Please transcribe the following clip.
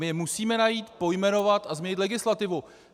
My je musíme najít, pojmenovat a změnit legislativu.